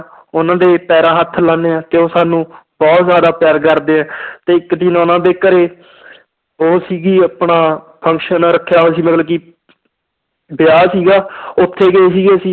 ਉਹਨਾਂ ਦੇ ਪੈਰਾਂ ਹੱਥ ਲਾਉਂਦੇ ਹਾਂ ਤੇ ਉਹ ਸਾਨੂੰ ਬਹੁਤ ਜ਼ਿਆਦਾ ਪਿਆਰ ਕਰਦੇ ਹੈ ਤੇ ਇੱਕ ਦਿਨ ਉਹਨਾਂ ਦੇ ਘਰੇ ਉਹ ਸੀਗੀ ਆਪਣਾ function ਰੱਖਿਆ ਹੋਇਆ ਸੀ ਮਤਲਬ ਕਿ ਵਿਆਹ ਸੀਗਾ ਉੱਥੇ ਗਏ ਸੀਗੇ ਅਸੀਂ